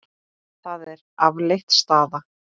Það er afleit staða.